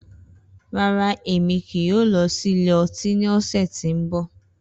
Rara, Emi kii yoo lọ si ilẹ ọti ni ọsẹ ti n bọ.